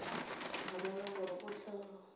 a rera gore o tla